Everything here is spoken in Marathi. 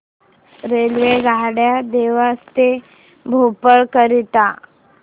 रेल्वेगाड्या देवास ते भोपाळ करीता